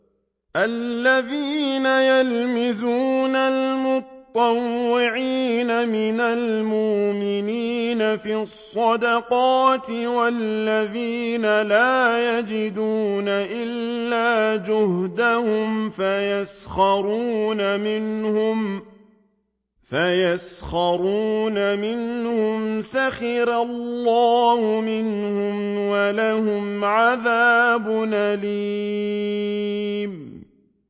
الَّذِينَ يَلْمِزُونَ الْمُطَّوِّعِينَ مِنَ الْمُؤْمِنِينَ فِي الصَّدَقَاتِ وَالَّذِينَ لَا يَجِدُونَ إِلَّا جُهْدَهُمْ فَيَسْخَرُونَ مِنْهُمْ ۙ سَخِرَ اللَّهُ مِنْهُمْ وَلَهُمْ عَذَابٌ أَلِيمٌ